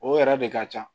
O yɛrɛ de ka ca